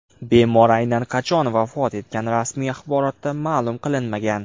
Bemor aynan qachon vafot etgani rasmiy axborotda ma’lum qilinmagan .